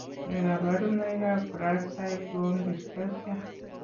Nee kabarunoikab Gracile bone dysplasia?